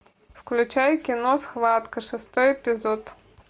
включай кино схватка шестой эпизод